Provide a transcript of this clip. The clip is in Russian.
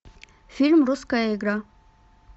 фильм русская игра